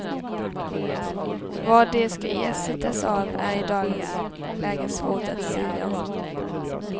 Vad de ska ersättas av är i dagens läge svårt att sia om.